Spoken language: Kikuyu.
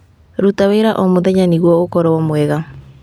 Ruta wĩra o mũthenya nĩguo ũkorwo mwega.